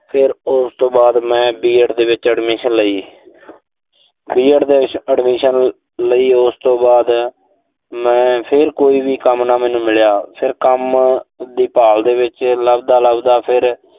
ਫਿਰ ਉਸ ਤੋਂ ਬਾਅਦ ਮੈਂ B. Ed ਦੇ ਵਿੱਚ B. Ed ਲਈ। B. Ed ਦੇ ਵਿੱਚ admission ਲਈ ਉਸ ਤੋਂ ਬਾਅਦ, ਮੈਂ ਫਿਰ ਕੋਈ ਵੀ ਕੰਮ ਨਾ ਮੈਨੂੰ ਮਿਲਿਆ। ਫਿਰ ਕੰਮ ਦੀ ਭਾਲ ਦੇ ਵਿੱਚ ਲੱਭਦਾ-ਲੱਭਦਾ ਫਿਰ